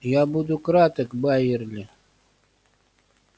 я буду краток байерли